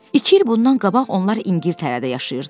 İki il bundan qabaq onlar İngiltərədə yaşayırdılar.